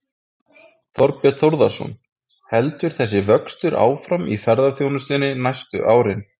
Þorbjörn Þórðarson: Heldur þessi vöxtur áfram í ferðaþjónustunni næstu árin?